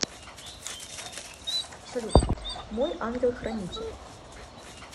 салют мой ангел хранитель